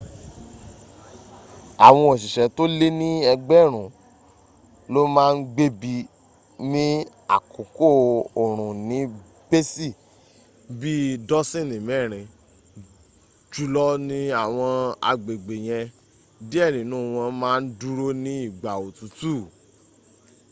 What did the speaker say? àwọn òṣìṣẹ́ tó lé ní egberun ló ma n gbébí ní àkókò òrùn ní bésì bíi dọ́sínì mẹ́rin jùlọ ní àwọn agbègbè yen díẹ̀ nínú wọ́n ma n dúró ní ìgbà òtútù